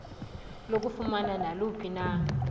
lokufumana naluphi na